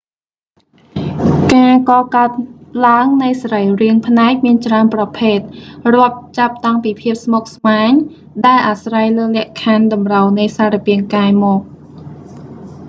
ការកកើតឡើងនៃសរីរាង្គភ្នែកមានច្រើនប្រភេទ រាប់ចាប់តាំងពីភាពស្មុគ្រស្មាញ ដែលអាស្រ័យលើលក្ខខណ្ឌតម្រូវនៃសារពាង្គកាយមក